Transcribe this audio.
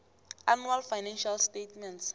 annual financial statements